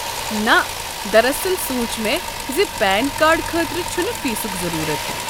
نہ، دراصل سوُنچ مےٚ زِ پین کارڈ خٲطرٕ چھُنہٕ فیسک ضروٗرَت۔